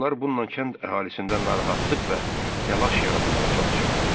Onlar bununla kənd əhalisində narahatlıq və təlaş yaratmağa çalışırdılar.